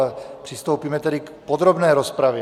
A přistoupíme tedy k podrobné rozpravě.